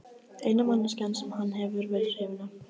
Eina manneskjan sem hann hefur verið hrifinn af.